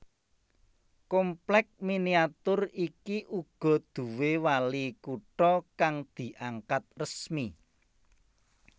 Komplèk miniatur iki uga nduwé wali kutha kang diangkat resmi